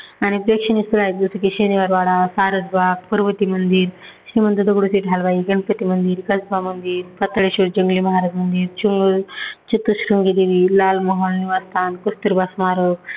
आणि प्रेक्षणीय स्थळ आहेत जसं की शनिवारवाडा, सारस बाग, पर्वती मंदिर, श्रीमंत दगडूशेठ हलवाई गणपती मंदिर, कसबा मंदिर, पाताळेश्वर जंगली महाराज मंदिर, चंगळ चतुरश्रृंगी देवी, लाल महल निवासस्थान, कस्तुरबा स्मारक